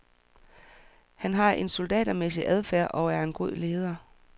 Han har en soldatermæssig adfærd og er en god leder.